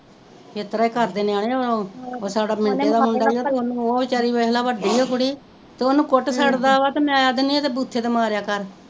ਇਤਰਾ ਈ ਕਰਦੇ ਨਿਆਣੇ ਉਹ ਸਾਡਾ ਮਿੰਟੂ ਦਾ ਮੁੰਡਾ ਉਹ ਵਚਾਰੀ ਵੱਡੀ ਆ ਕੁੜੀ ਤੇ ਓਹਨੂੰ ਕੁੱਟ ਛੱਡ ਦਾ ਵਾ ਤੇ ਮੈਂ ਕੇਹਨੀ ਆ ਇਹਦੇ ਬੁੱਥੇ ਤੇ ਮਾਰੇਆ ਕਰ